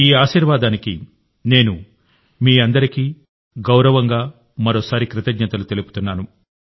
ఈ ఆశీర్వాదానికి నేను మీ అందరికీ గౌరవంగా మరోసారి కృతజ్ఞతలు తెలుపుతున్నాను